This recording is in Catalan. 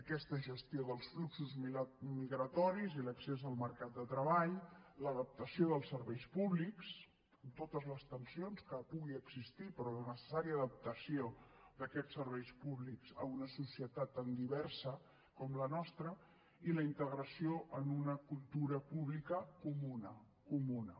aquesta gestió dels fluxos migratoris i l’accés al mercat de treball l’adaptació dels serveis públics amb totes les tensions que puguin existir però la necessària adaptació d’aquests serveis públics a una societat tan diversa com la nostra i la integració en una cultura pública comuna comuna